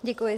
Děkuji.